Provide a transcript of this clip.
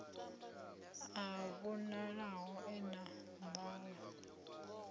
a vhonalaho e na nḓala